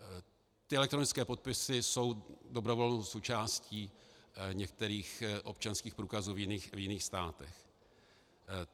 Ty elektronické podpisy jsou dobrovolnou součástí některých občanských průkazů v jiných státech.